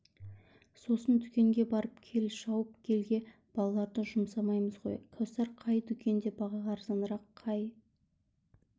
сосын дүкенге барып кел шауып келге балаларды жұмсаймыз ғой кәусар қай дүкенде баға арзанырақ қай